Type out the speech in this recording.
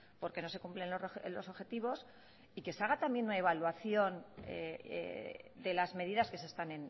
por qué no se cumplen los objetivos y que se haga también una evaluación de las medidas que se están